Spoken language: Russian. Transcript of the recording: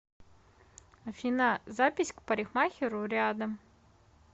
афина запись к парикмахеру рядом